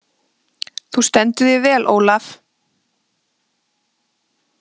Þú stendur þig vel, Olav!